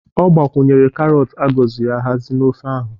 Ọ gbakwunyere karọt a gọziri ahazi na ofe ahụ